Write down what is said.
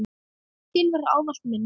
Þín verður ávallt minnst.